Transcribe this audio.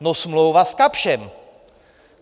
No smlouva s Kapschem.